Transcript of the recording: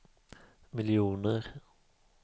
miljoner